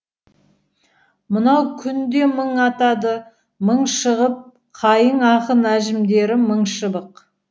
мынау күн де мың атады мың шығып қайың ақын әжімдері мың шыбық